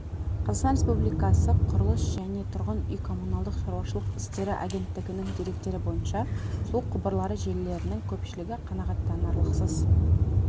қазақстан республикасы құрылыс жне тұрғын үй-коммуналдық шаруашылық істері агенттігінің деректері бойынша су құбырлары желілерінің көпшілігі қанағаттанарлықсыз